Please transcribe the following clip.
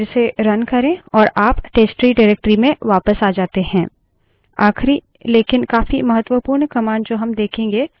इसे फिर से run करे और आप testtree directory में वापस आ जाते हैं